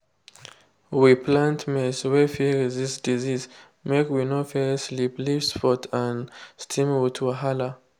we plant maize wey fit resist disease make we no face leaf leaf spot and stem rot wahala.